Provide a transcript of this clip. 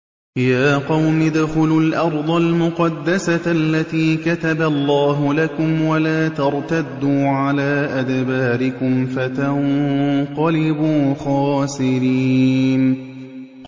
يَا قَوْمِ ادْخُلُوا الْأَرْضَ الْمُقَدَّسَةَ الَّتِي كَتَبَ اللَّهُ لَكُمْ وَلَا تَرْتَدُّوا عَلَىٰ أَدْبَارِكُمْ فَتَنقَلِبُوا خَاسِرِينَ